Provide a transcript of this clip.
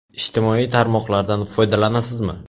Ijtimoiy tarmoqlardan foydalanasizmi?